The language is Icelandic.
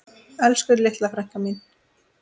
Elsku litla frænka mín.